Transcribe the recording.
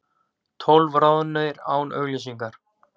Tólf ráðnir án auglýsingar